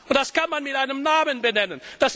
Und das kann man mit einem Namen benennen.